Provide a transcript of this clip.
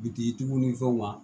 Bitigiw ni fɛnw na